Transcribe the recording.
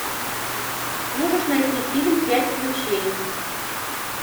можешь найти фильм пять ключей